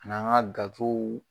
An n'an ka gatow.